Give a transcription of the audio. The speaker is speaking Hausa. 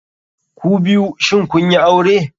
Kubiyu shin kunyi aure?